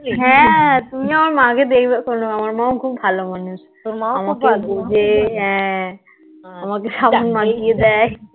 হ্যাঁ তুমি আমার মাকে দেখবেক্ষণ আমার মা খুব ভালো মানুষ. আমাকে বুঝে. হ্যাঁ আমাকে সাবান মাখিয়ে দেয়